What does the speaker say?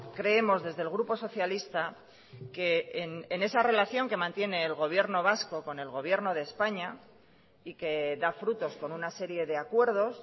creemos desde el grupo socialista que en esa relación que mantiene el gobierno vasco con el gobierno de españa y que da frutos con una serie de acuerdos